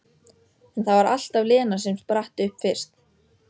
En það var alltaf Lena sem spratt upp fyrst.